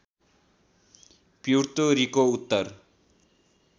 Puerto Rico Uttar